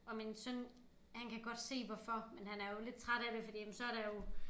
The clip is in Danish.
Og min søn han kan godt se hvorfor men han er jo lidt træt af det fordi men så der jo